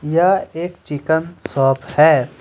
यह एक chicken shop हैं।